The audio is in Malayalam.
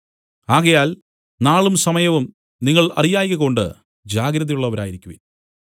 ആകയാൽ നാളും സമയവും നിങ്ങൾ അറിയായ്കകൊണ്ട് ജാഗ്രത ഉള്ളവരായിരിക്കുവിൻ